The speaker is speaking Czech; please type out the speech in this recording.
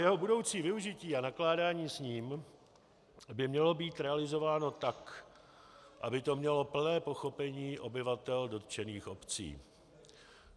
Jeho budoucí využití a nakládání s ním by mělo být realizováno tak, aby to mělo plné pochopení obyvatel dotčených obcí.